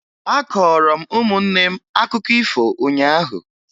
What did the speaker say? Akọọrọ m ụmụnne akụkọ ifo ụnyaahụ